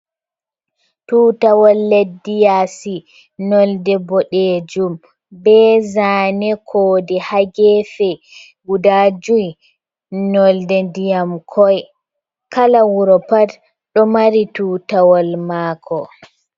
Tutawol leddi yasi, nolde bodejum bezane kode hagefe guda joi, nolde ndiyam koi kala wuro pat ɗo mari tutawol maako.